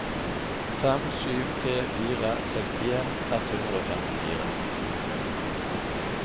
fem sju tre fire sekstien ett hundre og femtifire